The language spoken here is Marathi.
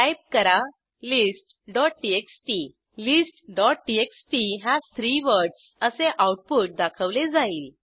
टाईप करा listटीएक्सटी listटीएक्सटी हस 3 वर्ड्स असे आऊटपुट दाखवले जाईल